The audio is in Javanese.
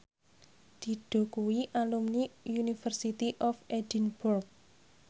Dido kuwi alumni University of Edinburgh